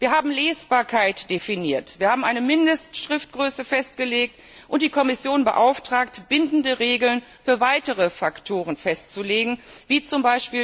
Wir haben Lesbarkeit definiert, wir haben eine Mindestschriftgröße festgelegt und die Kommission beauftragt, bindende Regeln für weitere Faktoren festzulegen wie z.